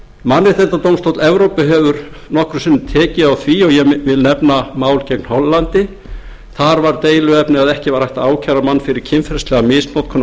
mannréttindadómstóll evrópu hefur nokkrum sinnum tekið á því og ég vil nefna mál gegn hollandi þar var deiluefnið að ekki var hægt að ákæra mann fyrir kynferðislega misnotkun